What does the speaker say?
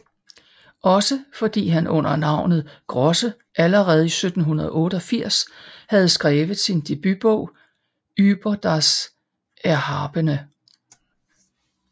Også fordi han under navnet Grosse allerede i 1788 havde skrevet sin debutbog Ueber das Erhabene